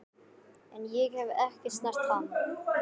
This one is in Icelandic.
En ég hef ekki snert hann.